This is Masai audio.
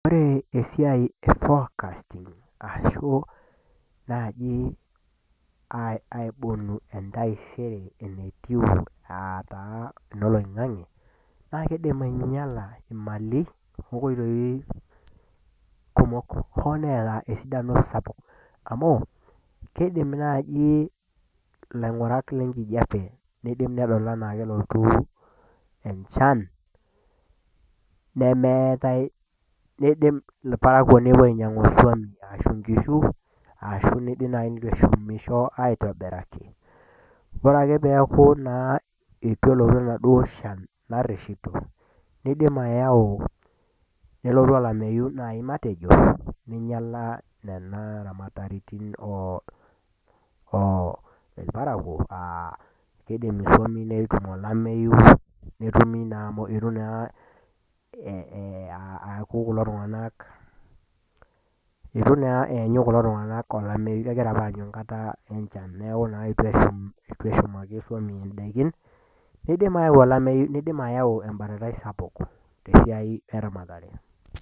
Ore esiai e forecasting, arashu naaji aibonu entaisere, enetiu aa taa enoloing'ang'e, naa keidim ainyala imali o nkoitoi kumok, hoo neata esidano sappuk amu, keidim naaji ilaing'urak lenkijape, neidim adol anaa kelotu enchan, neidim ilparakuo nepuo ainyang' isuam arashu inkishu. Aashu naji neitu eshumisho aitobiraki. Ore ake peaku eitu elotu enaduo shan naripito, neidim ayau, nelotu olameyu naaji matejo, neinyala nena aramaritin oo ilprakuo aa keidim isuam netum olameyu, eitu naa eaku kulo tung'anak eyanyu olameyu, egira opa aanyu enkata enchan neaku naa eitu eshumaki isuam indaiki, neidim ayau embatatai sapuk tesiai eramatare.